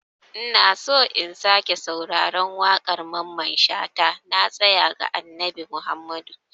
Ina so in sake sauraron waƙar Mamman shata "Na tasaya ga Annabi Muhammadu".